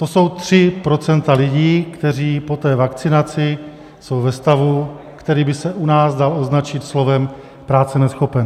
To jsou 3 procenta lidí, kteří po té vakcinaci jsou ve stavu, který by se u nás dal označit slovem práce neschopen.